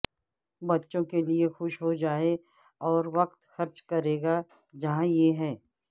بچوں کے لئے خوش ہو جائے اور وقت خرچ کرے گا جہاں یہ ہے